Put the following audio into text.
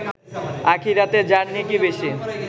আখেরাতে যার নেকি বেশি